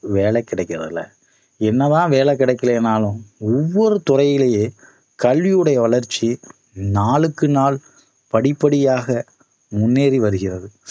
வேலை கிடைக்கறதில்லை என்னதான் வேலை கிடைக்கலனாளும் ஒவ்வொரு துறையிலேயே கல்வி உடைய வளர்ச்சி நாளுக்கு நாள் படிப்படியாக முன்னேறி வருகிறது